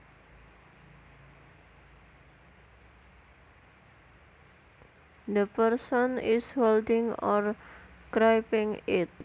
The person is holding or gripping it